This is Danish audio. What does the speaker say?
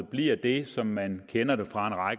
bliver det som man kender fra